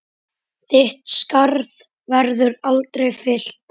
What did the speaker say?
Þitt skarð verður aldrei fyllt.